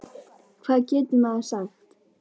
Hvað getur maður sagt?